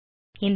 இந்த மேனு